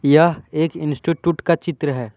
यह एक इंस्टिट्यूट का चित्र है।